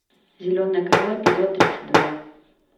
зеленое крыло эпизод тридцать два